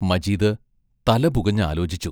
മജീദ് തല പുകഞ്ഞ് ആലോചിച്ചു.